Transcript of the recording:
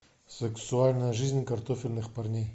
сексуальная жизнь картофельных парней